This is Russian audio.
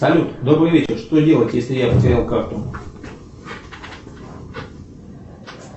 салют добрый вечер что делать если я потерял карту